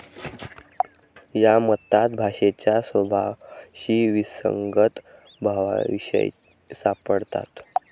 या मतात भाषेच्या स्वभावाशी विसंगत भावविशेष सापडतात.